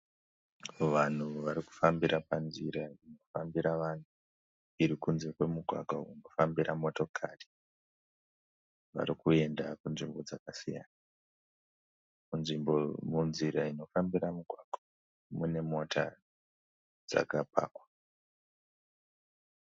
Vanhu varikufambira panzira inofambira vanhu. Iri kunze kwemugwagwa unofambira motokari vari kuenda kunzvimbo dzakasiyana. Munzira inofambira mugwagwa mune mota dzakapakwa.